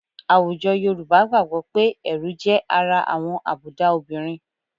Àwùjọ Yorùbá gbàgbọ́ pé ẹ̀rù jẹ́ ara àwọn àbùdá obìnrin